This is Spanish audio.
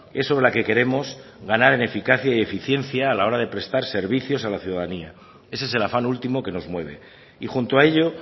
es sobre la que queremos ganar en eficacia y eficiencia a la hora de prestar servicios a la ciudadanía ese es el afán último que nos mueve y junto a ello